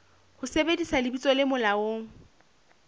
ho sebedisa lebitso le molaong